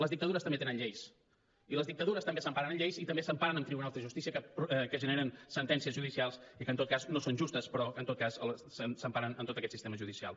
les dictadures també tenen lleis i les dictadures també s’emparen en lleis i també s’emparen en tribunals de justícia que generen sentències judicials i que en tot cas no són justes però en tot cas s’emparen en tot aquest sistema judicial